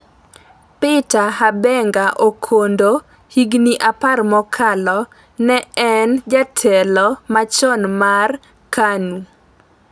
Peter Habenga Okondo Higni apar mokalo, ne en jatelo machon mar KANU